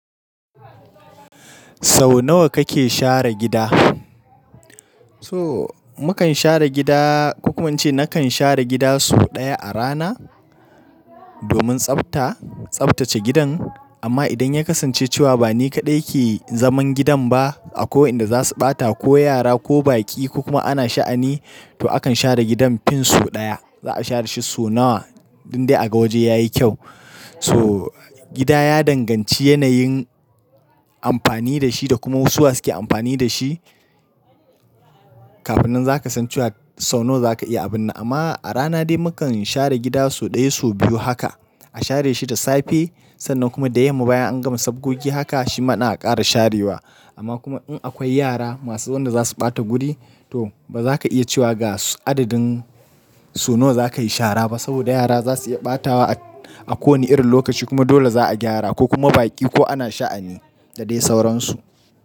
Sau nawa kake share gida? To, mu kan share gida, ko kuma in ce na kan share gida sau ɗaya a rana domin tsafta, tsaftace gidan. Amma idan ya kasance cewa ba ni kaɗai ke zaman gidan ba, akwai wai'nda za su ɓata, ko yara ko baƙi ko kuma ana sha'ani, to akan share gidan fin sau ɗaya. Za a share shi sau nawa dukdai a ga waje yayi kyau. To, gida ya danganci yanayin amfani da shi da kuma wasu wa suke amfani da shi. Kafin nan za ka san cewa sau nawa za ka iya abun nan. Amma a rana dai mu kan share gida sau ɗaya, sau biyu haka. A share shi da safe, sannan kuma da yamma bayan an gama sabgogi haka shi ma din a ƙara sharewa. Amma kuma in akwai yara masu wanda za su ɓata guri, to ba za ka iya cewa ga adadin sau nawa za ka yi shara ba. Saboda yara za su iya ɓatawa a ko wane irin lokaci kuma dole za a gyara, ko kuma baƙi ko ana sha'ani da dai sauransu.